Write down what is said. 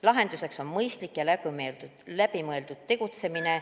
Lahendus on mõistlik ja läbimõeldud tegutsemine.